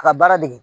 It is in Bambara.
A ka baara dege